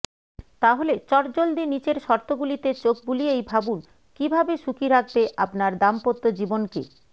তাহলে চট জলদি নিচের শর্তগুলিতে চোখ বুলিয়েই ভাবুন কীভাবে সুখী রাখবে আপনার দাম্পত্য জীবনকে